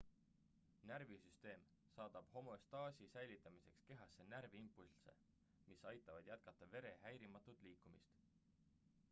närvisüsteem saadab homöostaasi säilitamiseks kehasse närviimpulsse mis aitavad jätkata vere häirimatut liikumist